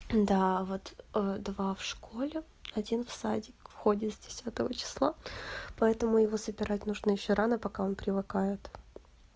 да вот два в школе один в садик ходит с десятого числа поэтому его забирать нужно ещё рано пока он привыкает